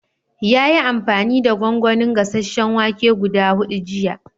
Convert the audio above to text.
Ya yi amfani da gongonin gasasen wake guda hudu jiya.